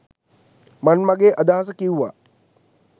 මන් මගේ අදහස කිව්වා.